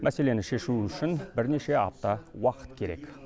мәселені шешу үшін бірнеше апта уақыт керек